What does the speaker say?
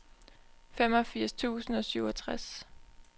femogfirs tusind og syvogtres